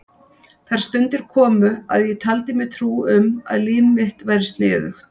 Þær stundir komu að ég taldi mér trú um að líf mitt væri sniðugt.